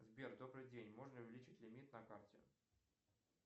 сбер добрый день можно увеличить лимит на карте